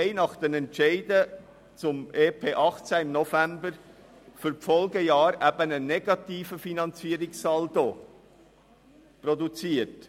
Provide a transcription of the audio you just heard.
Nach den Entscheiden zum EP 2018 im November haben wir für die Folgejahre eben einen negativen Finanzierungssaldo produziert.